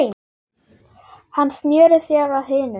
Hann sneri sér að hinum.